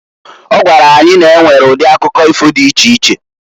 Ọ gwara anyị na-enwere udi akụkọ ifo di iche iche.